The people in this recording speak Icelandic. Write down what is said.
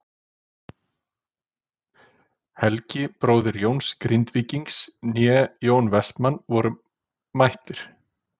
Helgi bróðir Jóns Grindvíkings né Jón Vestmann voru mættir.